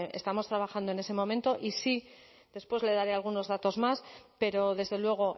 estamos trabajando en ese momento y sí después le daré algunos datos más pero desde luego